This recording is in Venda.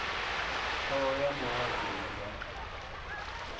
thoho ya muhasho i nga